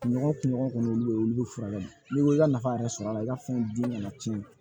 Nɔgɔ kun ɲɔgɔn kɔni olu de ye olu be furakɛ n'i ko i ka nafa yɛrɛ sɔrɔ a la i ka fɛn dun kana tiɲɛ